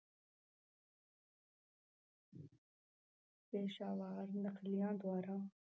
ਪੇਸ਼ਾਵਰ ਨਕਲੀਆਂ ਦੁਆਰਾ